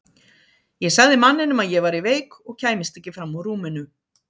Ég sagði manninum að ég væri veik og kæmist ekki fram úr rúminu.